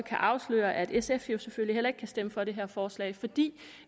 at afsløre at sf selvfølgelig heller ikke kan stemme for det her forslag fordi